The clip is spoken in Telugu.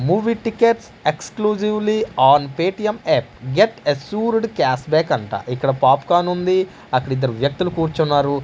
Movie tickets exclusively on Paytm app get assured cash back అంట. ఇక్కడ పొపకార్న్ ఉంది అక్కడిద్దరు వ్యక్తులు కూర్చున్నారు.